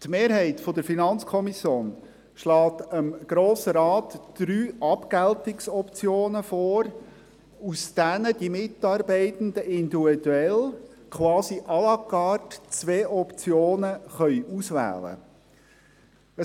Die Mehrheit der FiKo schlägt dem Grossen Rat drei Abgeltungsoptionen vor, aus denen die Mitarbeitenden individuell, quasi à la carte, zwei Optionen auswählen können.